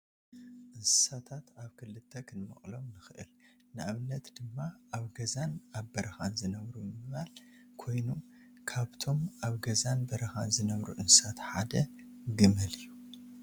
እንስሳታት ኣብ ክልተ ክንመቕሎም ንኽእል፡፡ ንኣብነት ድማ ኣብ ገዛን ኣብ በረኻን ዝነብሩ ብምባል ኮይኑ ካብቶም ኣብ ገዛን በረኻን ዝነብሩ እንስሳታት ሓደ ግመል እዩ፡፡